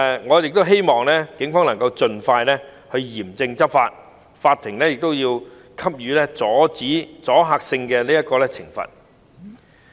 我希望警方能夠盡快嚴正執法，法庭也要給予阻嚇性的懲罰。